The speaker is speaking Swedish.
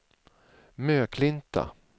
Möklinta